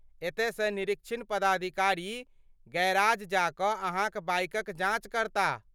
एतयसँ निरीक्षण पदाधिकारी गैराज जा कऽ अहाँक बाइकक जाँच करताह।